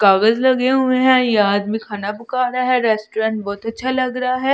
कागज लगे हुए हैं ये आदमी खाना पका रहा है रेस्टोरेंट बहुत अच्छा लग रहा है।